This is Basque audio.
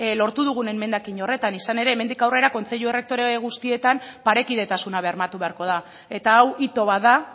lortu dugun emendakin horretan izan ere hemendik aurrera kontseilu errektorea guztietan parekidetasuna bermatu beharko da eta hau hito bat da